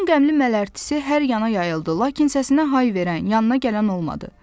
Onun qəmli mələrtisi hər yana yayıldı, lakin səsinə hay verən, yanına gələn olmadı.